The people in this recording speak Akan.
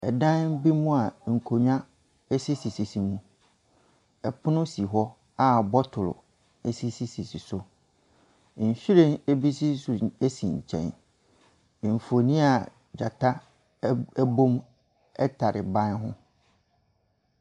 Ɛdan bi mu a nkonnwa sisisisi mu. Ɛpono si hɔ a botolo sisisisi so. Nhyiren bi nso sisi nkyɛn. Mfoni a gyata ɛbom ɛtare ban ho.